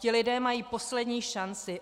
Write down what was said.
Ti lidé mají poslední šanci.